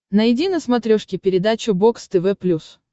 найди на смотрешке передачу бокс тв плюс